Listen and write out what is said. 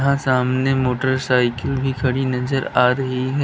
यहां सामने मोटरसाइकिल भी खड़ी नजर आ रही है।